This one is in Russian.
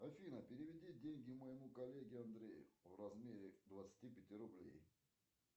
афина переведи деньги моему коллеге андрею в размере двадцати пяти рублей